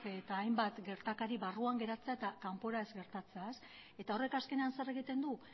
eta hainbat gertakari barruan gertatzea eta kanpora ez gertatzea eta horrek azkenean zer egiten du